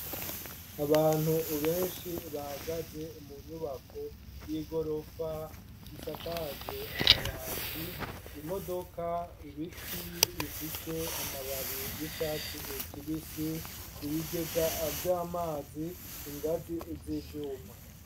Abantu benshi bahagaze mu nyubako y'igorofa isakajwe amabati, imodoka, ibiti bifise amababi y'icatsi kibisi, ibigega vy'amazi, ingazi z'ivyuma.